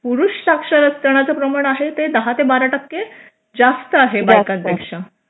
पुरुष साक्षरत प्रमाण आहे ते दहा ते बारा टक्के जास्त आहे बायका पेक्षा